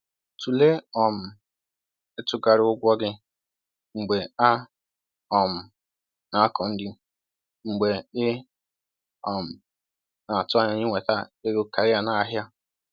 Tụlee um itughari ụgwọ gị mgbe a um na-akọ nri, mgbe ị um na-atụ anya inweta ego karịa n’ahịa.